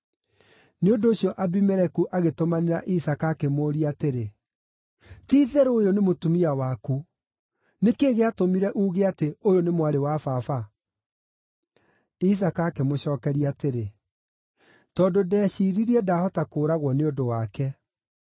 Nĩ ũndũ ũcio Abimeleku agĩtũmanĩra Isaaka, akĩmũũria atĩrĩ, “Ti-itherũ ũyũ nĩ mũtumia waku! Nĩ kĩĩ gĩatũmire uuge atĩ, ‘Ũyũ nĩ mwarĩ wa baba’?” Isaaka akĩmũcookeria atĩrĩ, “Tondũ ndeciiririe ndahota kũũragwo nĩ ũndũ wake.”